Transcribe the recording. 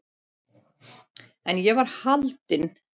En ég var haldin.